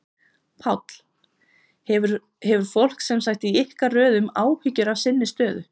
Páll: Hefur fólk sem sagt í ykkar röðum áhyggjur af sinni stöðu?